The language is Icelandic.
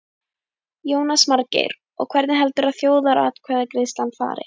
Jónas Margeir: Og hvernig heldurðu að þjóðaratkvæðagreiðslan fari?